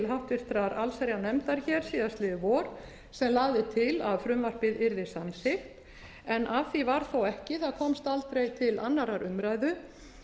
háttvirtrar allsherjarnefndar hér síðastliðið vor sem lagði til að frumvarpið yrði samþykkt en að því varð þó ekki það komst aldrei til annarrar umræðu